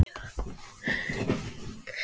Samt er hann heimsmannslegur í fasi.